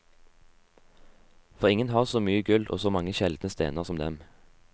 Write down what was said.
For ingen har så mye gull og så mange sjeldne stener som dem.